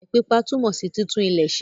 Ile pípa túmò sí títún ilẹ̀ ṣe.